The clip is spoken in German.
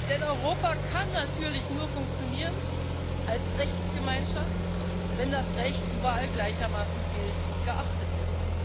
Denn Europa kann natürlich nur funktionieren als Rechtsgemeinschaft, wenn das Recht überall gleichermaßen gilt und geachtet wird.